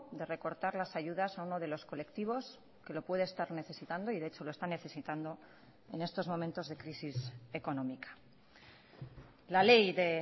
de recortar las ayudas a uno de los colectivos que lo puede estar necesitando y de echo lo está necesitando en estos momentos de crisis económica la ley de